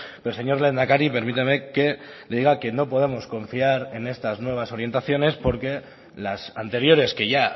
pero señor lehendakari permítame que le diga que no podemos confiar en estas nuevas orientaciones porque las anteriores que ya